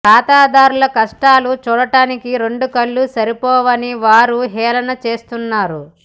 ఖాతాదారుల కష్టాలు చూడటానికి రెండు కళ్ళు సరిపోవని వారు హేళన చేస్తున్నారు